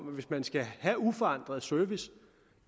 hvis man skal have uforandret service